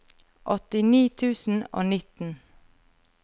åttini tusen og nitten